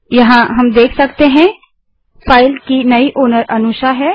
यहाँ आप देख सकते हैं कि फाइल की नई मालिकओनर अनुषा है